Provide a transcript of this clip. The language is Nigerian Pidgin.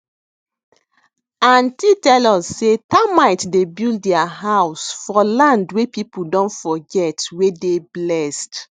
aunty tell us say termite dey build their house for land wey people don forget wey dey blessed